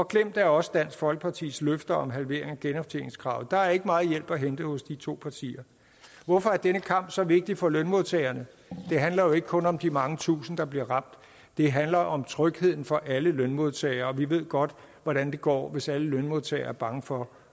glemt er også dansk folkepartis løfter om en halvering af genoptjeningskravet der er ikke meget hjælp at hente hos de to partier hvorfor er denne kamp så vigtig for lønmodtagerne det handler jo ikke kun om de mange tusinde der bliver ramt det handler om trygheden for alle lønmodtagere og vi ved godt hvordan det går hvis alle lønmodtagere er bange for